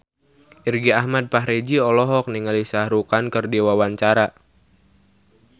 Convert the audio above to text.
Irgi Ahmad Fahrezi olohok ningali Shah Rukh Khan keur diwawancara